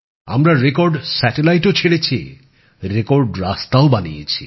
আমরা রেকর্ড সংখ্যক কৃত্রিম উপগ্রহ উতক্ষেপন করেছি ও রেকর্ড সংখ্যক রাস্তাও বানিয়েছি